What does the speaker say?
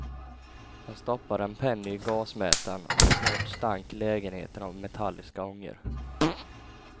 Han stoppade en penny i gasmätaren, och snart stank lägenheten av metalliska ångor.